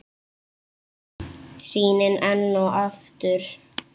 Sýnin enn og aftur.